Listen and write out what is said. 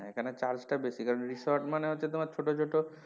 এখানে charge টা বেশি কারন resort মানে হচ্ছে তোমার ছোটো ছোটো,